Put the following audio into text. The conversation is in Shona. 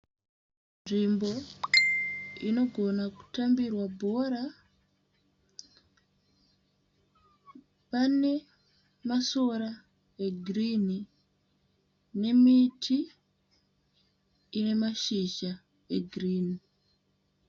Nzvimbo inogona kutambirwa bhora, pane masora egirini nemiti ine mashizha egirini.